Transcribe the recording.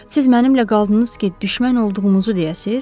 Siz mənimlə qaldınız ki, düşmən olduğumuzu deyəsiz?